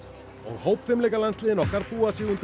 hópfimleikalandsliðin okkar búa sig undir